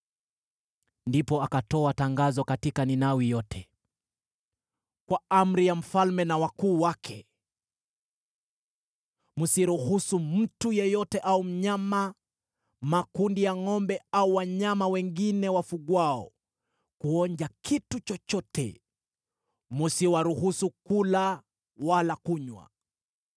Ndipo akatoa tangazo katika Ninawi yote: “Kwa amri ya mfalme na wakuu wake: “Msiruhusu mtu yeyote au mnyama, makundi ya ngʼombe au wanyama wengine wafugwao, kuonja kitu chochote, msiwaruhusu kula wala kunywa.